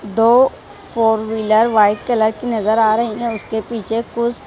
दो four wheeler white colour की नजर आ रही है उसके पीछे कुछ --